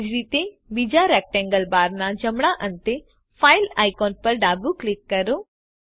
તેજ રીતે બીજા રેક્ટેંગલ બારના જમણા અંતે fileઆઇકોન પર ડાબું ક્લિક કરો